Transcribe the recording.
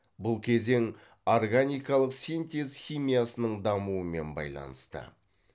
бұл кезең органикалық синтез химиясының дамуымен байланысты